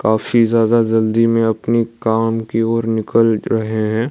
काफी ज्यादा जल्दी में अपनी काम की ओर निकल रहे हैं।